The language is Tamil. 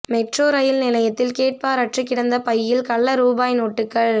மெட்ரோ ரயில் நிலையத்தில் கேட்பாரற்றுக் கிடந்த பையில் கள்ள ரூபாய் நோட்டுகள்